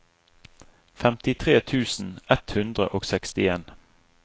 femtitre tusen ett hundre og sekstien